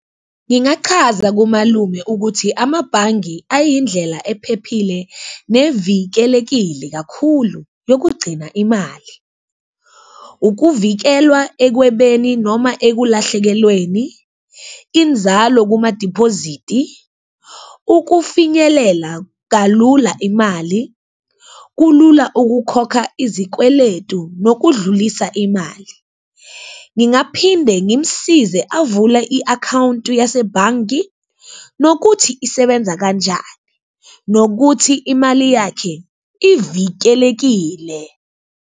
Ngingachaza kumalume ukuthi amabhange ayindlela ephephile, nevikelekile kakhulu yokugcina imali. Ukuvikelwa ekwebeni noma ekulahlekelweni, inzalo kuma-deposite-i, ukufinyelela kalula imali, kulula ukukhokha izikweletu nokudlulisa imali. Ngingaphinde ngimsize avule i-akhawunti yasebhangi nokuthi isebenza kanjani, nokuthi imali yakhe ivikelekile.